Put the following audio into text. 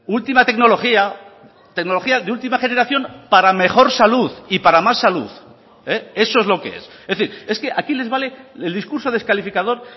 última tecnología tecnología de última generación para mejor salud y para más salud eso es lo que es es decir es que aquí les vale el discurso descalificador